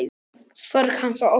Sorg hans og ótti.